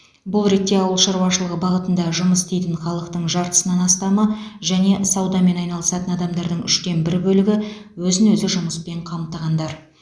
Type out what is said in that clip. бұл ретте ауыл шаруашылығы бағытында жұмыс істейтін халықтың жартысынан астамы және саудамен айналысатын адамдардың үштен бір бөлігі өзін өзі жұмыспен қамтығандар